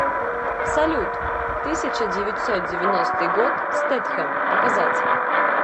салют тысяча девятьсот девяностый год стэтхем показать